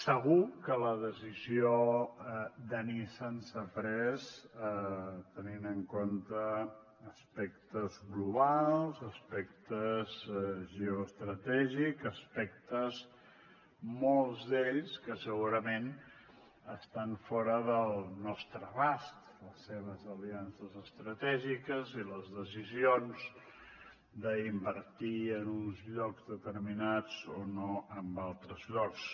segur que la decisió de nissan s’ha pres tenint en compte aspectes globals aspectes geoestratègics aspectes molts d’ells que segurament estan fora del nostre abast les seves aliances estratègiques i les decisions d’invertir en uns llocs determinats o no en altres llocs